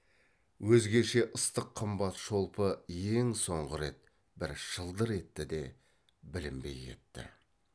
өзгеше ыстық қымбат шолпы ең соңғы рет бір шылдыр етті де білінбей кетті